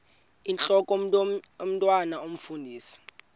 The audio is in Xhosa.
intlok omntwan omfundisi